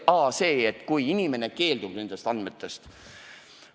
See puudutas seda, et kui inimene keeldub oma andmete avaldamisest.